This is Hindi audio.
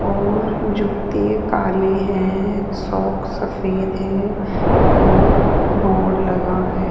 और जूते काले हैं शॉक्स सफेद हैं और बोर्ड लगा है।